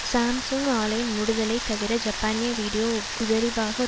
Samsung ஆலை மூடுதலைத் தவிர ஜப்பானிய வீடியோ உதரிப்பாக